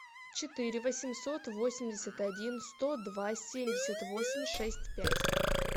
четыре восемьсот восемьдесят один сто два семьдесят восемь шесть пять